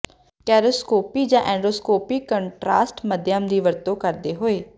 ਕੋਰੋਸਕੋਪੀ ਜਾਂ endoscopy contrast ਮਾਧਿਅਮ ਦੀ ਵਰਤੋਂ ਕਰਦੇ ਹੋਏ